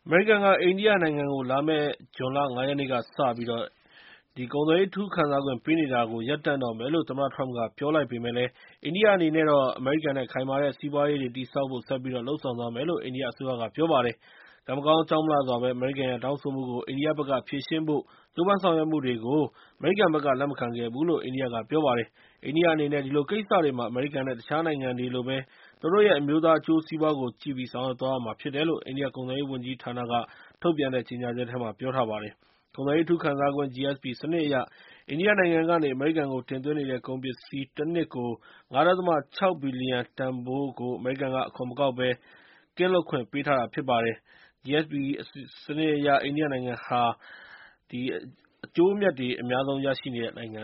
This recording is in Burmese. မေရိကန်က အိန္ဒိယနိုင်ငံကို လာမယ့် လာမယ့်ဇွန်လ ၅ ရက်နေ့ကစပြီး အိန္ဒိယနိုင်ငံအပေါ် ကုန်သွယ်ရေး အထူးခံစားခွင့် ပေးနေတာတွေကို ရပ်တန့်တော့မယ်လို့ သမ္မတထရမ့်က ပြောလိုက်ပေမယ့်လည်း အိန္ဒိယ အနေနဲ့ အမေရိကန်နဲ့ ခိုင်မာတဲ့စီးပွားရေးတွေ တည်ဆောက်ဖို့ ဆက်ပြီး လုပ်ဆောင်သွားမယ်လို့ အိန္ဒိယအစိုးရက ပြောလိုက်ပါတယ်။ ကံမကောင်းအကြောင်းမလှစွာဘဲ အမေရိကန်ရဲ့ တောင်းဆိုမှုကို အိန္ဒိယဘက်က ဖြေရှင်းဖို့ ကြိုးပမ်းဆောင်ရွက်မှုတွေကို အမေရိကန်ဘက်က လက်မခံခဲ့ဘူးလို့ အိန္ဒိယက ပြောပါတယ်။ အိန္ဒိယအနေနဲ့ ဒီလိုကိစ္စတွေမှာ အမေရိကန် နဲ့ တခြားနိုင်ငံတွေလိုပဲ သူတို့ရဲက အမျိုးသားအကျိုးစီးပွားကိုကြည့်ပြီး ဆောင်ရွက်သွားရမှာ ဖြစ်တယ်လို့ အိန္ဒိယကုန်သွယ်ရေးဝန်ကြီးဌာနက ထုတ်ပြန်တဲ့ ကြေငြာချက်ထဲမှာ ပြောထားပါတယ်။ ကုန်သွယ်ရေး အထူးခံစားခွင့် (GSP) စနစ်အရ အိန္ဒိယနိုင်ငံကနေ အမေရိကန်ကို တင်သွင်းနေတဲ့ ကုန်ပစ္စည်း တနှစ်ကို ၅.၆ ဘီလျံတန်ဖိုးကို အမေရိကန်က အခွန်မကောက်ဘဲ အခွန်ကင်းလွတ်ခွင့် ပေးထားတာ ဖြစ်ပါတယ်။ အိန္ဒိယနိုင်ငံဟာ အကျိုးအမြတ်တွေ အများဆုံးရနေတဲ့ နိုင်ငံ